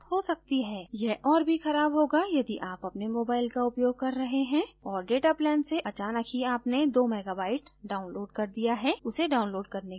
यह और भी खराब होगा यदि आप अपने mobile का उपयोग कर रहे हैं और data plan से अचानक ही आपने 2 मेगाबाइट download कर दिया है उसे download करने की जरूरत नहीं थी